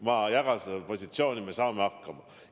Ma jagan seda positsiooni: me saame hakkama.